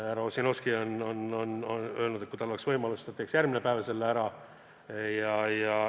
Härra Ossinovski on öelnud, et kui tal oleks võimalus, siis ta teeks järgmine päev selle ära.